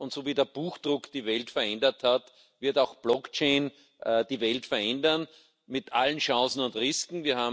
Und so wie der Buchdruck die Welt verändert hat, wird auch Blockchain die Welt verändern, mit allen Chancen und Risken.